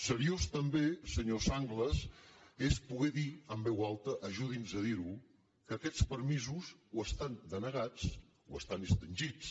seriós també senyor sanglas és poder dir en veu alta ajudi’ns a dir ho que aquests permisos o estan denegats o estan extingits